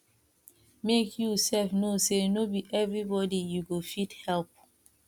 mek yu sef no sey no bi evribodi yu go fit help